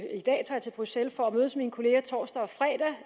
i dag tager til bruxelles for at mødes med mine kolleger torsdag og fredag